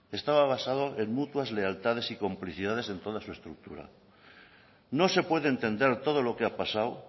estaba basado en mutuas lealtades y complicidades en toda su estructura no se puede entender todo lo que ha pasado